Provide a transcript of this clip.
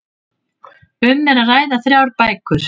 Um er að ræða þrjár bækur